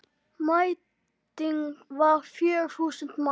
Mæting var fjögur þúsund manns.